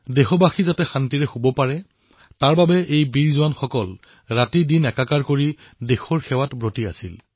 দেশবাসীয়ে যাতে নিশ্চিতভাৱে নিদ্ৰামগ্ন হব পাৰে তাৰ বাবে আমাৰ বীৰ সুপুত্ৰসকলে দিনৰাতি একাকাৰ কৰি পেলাইছিল